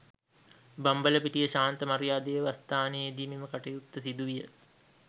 බම්බලපිටිය ශාන්ත මරියා දේවස්ථානයේදී මෙම කටයුත්ත සිදු විය